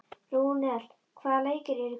Rúnel, hvaða leikir eru í kvöld?